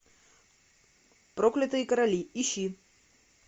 проклятые короли ищи